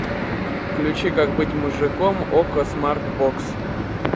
включи как быть мужиком окко смарт бокс